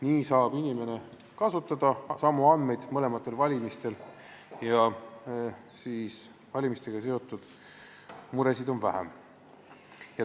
Nii saab mõlematel valimistel kasutada inimese puhul samu andmeid ja valimistega seotud muresid on vähem.